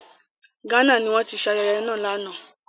Ghana ni wọ́n ti ṣe ayẹyẹ náà lánàá.